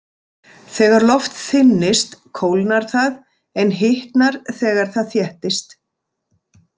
Þegar loft þynnist kólnar það en hitnar þegar það þéttist.